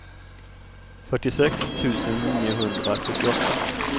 fyrtiosex tusen niohundrasjuttioåtta